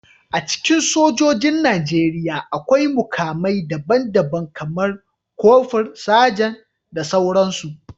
A cikin sojojin Najeriya, akwai mukamai daban-daban, kamar kofur, Sajan, da sauransu